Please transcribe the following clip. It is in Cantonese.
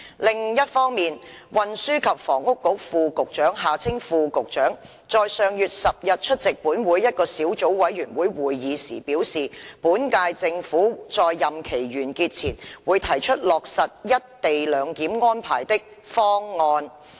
另一方面，運輸及房屋局副局長在上月10日出席本會一個小組委員會會議時表示，本屆政府在任期完結前會提出落實一地兩檢安排的"方案"。